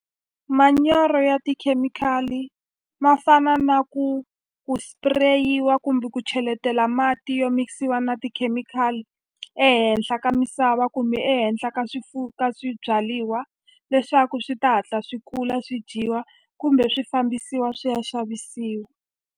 Manyoro ya tikhemikhali ma fana na ku ku spray-iwa kumbe ku cheletela mati yo mikisiwa na tikhemikhali ehenhla ka misava kumbe ehenhla ka ka swibyaliwa leswaku swi ta hatla swi kula swi dyiwa kumbe swi fambisiwa swi ya xavisiwa.